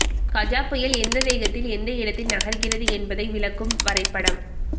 கஜா புயல் எந்த வேகத்தில் எந்த இடத்தில் நகர்கிறது என்பதை விளக்கும் வரைபடம்